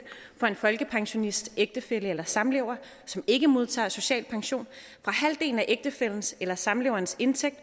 for en folkepensionists ægtefælle eller samlever som ikke modtager social pension fra halvdelen af ægtefællens eller samleverens indtægt